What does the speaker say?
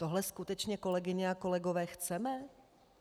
Tohle skutečně, kolegyně a kolegové, chceme?